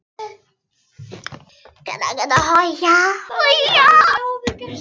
Ferill gufu frá holu til nýtingar